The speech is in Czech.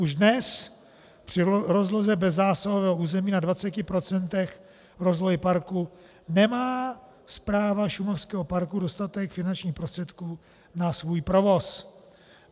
Už dnes při rozloze bezzásahového území na 20 % rozlohy parku nemá správa šumavského parku dostatek finančních prostředků na svůj provoz.